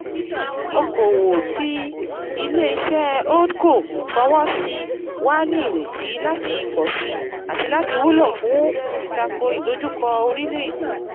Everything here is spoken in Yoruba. Okoòwò tí ilé iṣẹ́ Holdco fowó sí wà ní ìrètí láti pọ̀si àti láti wúlò fún ìtako ìdojúkọ orílẹ̀èdè